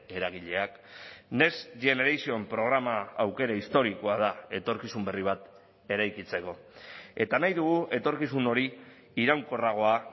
eragileak next generation programa aukera historikoa da etorkizun berri bat eraikitzeko eta nahi dugu etorkizun hori iraunkorragoa